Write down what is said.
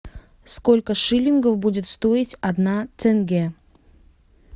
сколько шиллингов будет стоить одна тенге